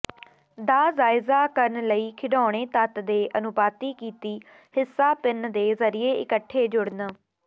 ਦਾ ਜਾਇਜ਼ਾ ਕਰਨ ਲਈ ਖਿਡੌਣੇ ਤੱਤ ਦੇ ਅਨੁਪਾਤੀ ਕੀਤੀ ਹਿੱਸਾ ਪਿੰਨ ਦੇ ਜ਼ਰੀਏ ਇਕੱਠੇ ਜੁੜਨ